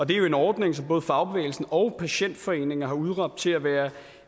det er jo en ordning som både fagbevægelsen og patientforeninger har udråbt til at være